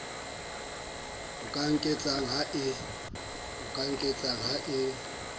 o ka nketsang ha e